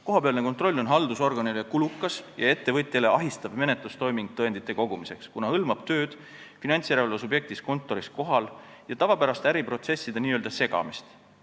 Kohapealne kontroll on haldusorganile kulukas ja ettevõtjale ahistav menetlustoiming tõendite kogumiseks, kuna hõlmab tööd finantsjärelevalve subjekti kontoris kohal ja tavapäraste äriprotsesside n-ö segamist.